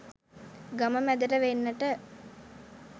ගම මැදට වෙන්නට